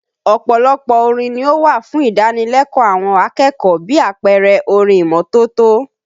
Ọ̀pọ̀lọpọ̀ orin ni ó wà fún ìdánilẹ́kọ̀ọ́ àwọn akẹ́kọ̀ọ́ bí àpẹẹrẹ orin ìmọ́tótó